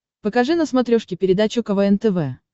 покажи на смотрешке передачу квн тв